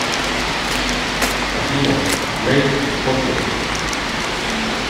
афина грэйс поттер